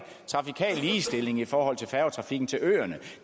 trafikal ligestilling i forhold til færgetrafikken til øerne og